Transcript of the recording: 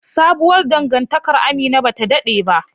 Sabuwar dangantakar Amina bata dade ba